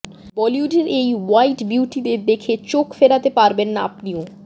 বলিউডের এই হোয়াইট বিউটিদের দেখে চোখ ফেরাতে পারবেন না আপনিও